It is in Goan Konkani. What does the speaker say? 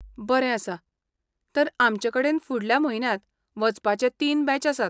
बरें आसा. तर आमचे कडेन फुडल्या म्हयन्यांत वचपाचे तीन बॅच आसात.